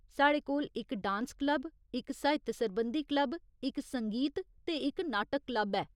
साढ़े कोल इक डांस क्लब, इक साहित्य सरबंधी क्लब, इक संगीत ते इक नाटक क्लब ऐ।